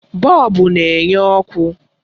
Bọlbụ na-enye ọkụ.